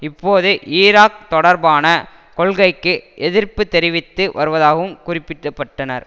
இப்போது ஈராக் தொடர்பான கொள்கைக்கு எதிர்ப்பு தெரிவித்து வருவதாகவும் குறிப்பிட்டபட்டனர்